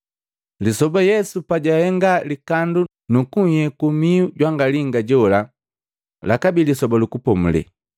Lisoba Yesu pajahenga likandu nukuyeku mihu jwangalinga jola lakabi Lisoba lu Kupomulela.